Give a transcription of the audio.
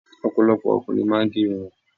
Ọ̀pọ̀lọpọ̀ ọkùnrin máa ń gé irun.